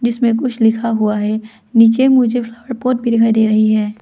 इसमें कुछ लिखा हुआ है नीचे मुझे फ्लावर पॉट भी दिखाई दे रही है।